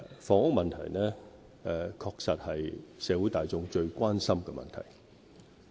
房屋問題確實是社會大眾最關心的問題。